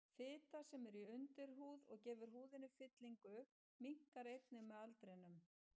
Fita, sem er í undirhúð og gefur húðinni fyllingu, minnkar einnig með aldrinum.